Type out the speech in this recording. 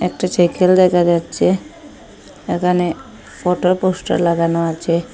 একটি সাইকেল দেখা যাচ্চে একানে ফটো পোস্টার লাগানো আচে।